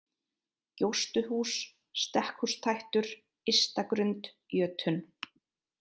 Gjóstuhús, Stekkhústættur, Ysta-Grund, Jötunn